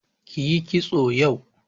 Kiyi kitso yau.